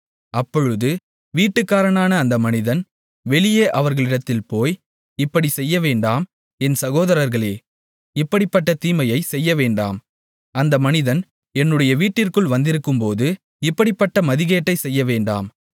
அப்பொழுது வீட்டுக்காரனான அந்த மனிதன் வெளியே அவர்களிடத்தில் போய் இப்படிச்செய்யவேண்டாம் என் சகோதரர்களே இப்படிப்பட்ட தீமையைச் செய்யவேண்டாம் அந்த மனிதன் என்னுடைய வீட்டிற்குள் வந்திருக்கும்போது இப்படிப்பட்ட மதிகேட்டைச் செய்ய வேண்டாம்